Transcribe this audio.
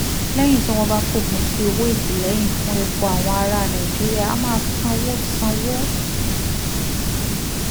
lẹ́yìn tí wọ́n bá fòpin sí owó ìtìlẹ́yìn fún epo àwọn ará nàìjíríà á máa sanwó sanwó